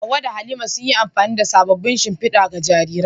Hawwa da Halima, sun yi amfani da sabon shimfidar ga jariran.